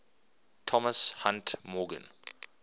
thomas hunt morgan